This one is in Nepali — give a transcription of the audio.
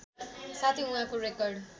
साथै उहाँको रेकर्ड